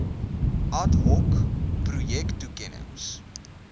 ad hoc projektoekennings